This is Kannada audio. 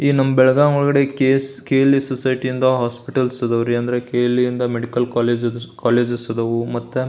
ಈ ನಮ್ ಬೆಳಗಾಂ ಒಳಗಡೆ ಕೆ.ಎಲ್.ಇ ಸೊಸೈಟಿ ಇಂದ ಹೋಸ್ಪಿಟಲ್ಸ್ ಇದಾವು ರೀ ಅಂದ್ರೆ ಕೆ.ಎಲ್.ಇ ಇಂದ ಮೆಡಿಕಲ್ ಕಾಲೇಜು ಇದ್ದವು ಮತ್ತ್ --